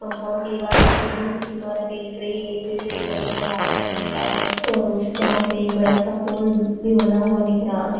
Compound की दिवार दिख रही कुछ इमारते दिख रहे पेड़ दिख रहे है आसमान दिख रहा है और उस ग्राउंड पर एक बड़ा सा पोल भी बना हुआ दिख रहा है।